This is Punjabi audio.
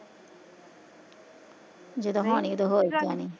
ਜਦੋਂ ਹੋਣੀ ਉਦੋਂ ਹੀਂ ਈ ਜਾਣੀ